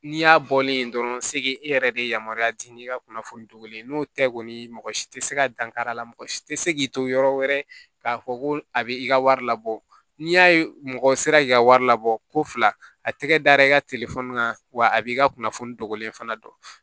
N'i y'a bɔlen yen dɔrɔn se e yɛrɛ de yamaruya di i ka kunnafoni dogolen no tɛ kɔni mɔgɔ si tɛ se ka dankari a la mɔgɔ si tɛ se k'i to yɔrɔ wɛrɛ k'a fɔ ko a bɛ i ka wari labɔ n'i y'a ye mɔgɔ sera k'i ka wari labɔ ko fila a tɛgɛ da i ka kan wa a b'i ka kunnafoni dogolen fana dɔn